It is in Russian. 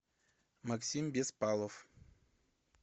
максим беспалов